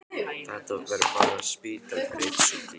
Þetta verður bara lítill spítali fyrir einn sjúkling.